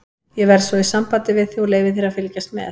Ég verð svo í sambandi við þig og leyfi þér að fylgjast með.